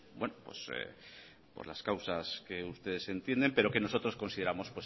pues las causas que ustedes entienden pero que nosotros consideramos